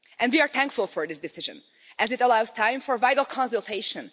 And we are thankful for this decision, as it allows time for vital consultation.